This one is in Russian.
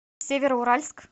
североуральск